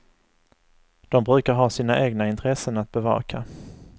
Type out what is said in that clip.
De brukar ha sina egna intressen att bevaka.